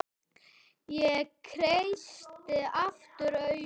Ég kreisti aftur augun.